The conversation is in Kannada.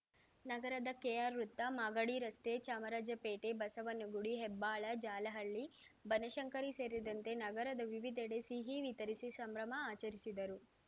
ನಗರದ ಕೆಆರ್‌ ವೃತ್ತ ಮಾಗಡಿ ರಸ್ತೆ ಚಾಮರಾಜಪೇಟೆ ಬಸವನಗುಡಿ ಹೆಬ್ಬಾಳ ಜಾಲಹಳ್ಳಿ ಬನಶಂಕರಿ ಸೇರಿದಂತೆ ನಗರದ ವಿವಿಧೆಡೆ ಸಿಹಿ ವಿತರಿಸಿ ಸಂಭ್ರಮ ಆಚರಿಸಿದರು